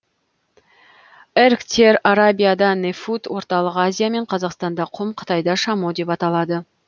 эргтер арабияда нефуд орталық азия мен қазақстанда құм қытайда шамо деп аталады